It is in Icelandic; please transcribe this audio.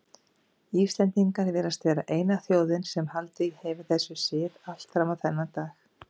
Íslendingar virðast vera eina þjóðin sem haldið hefur þessum sið allt fram á þennan dag.